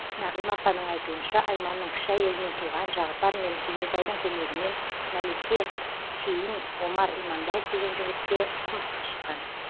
нағима апаның айтуынша айманның кіші әйелінен туған жағыпар мен кенжетайдың көмегімен мәлике кейін омар иманбаев деген жігітке тұрмысқа шыққан